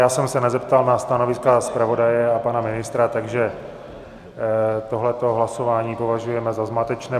Já jsem se nezeptal na stanoviska zpravodaje a pana ministra, takže tohleto hlasování považujeme za zmatečné.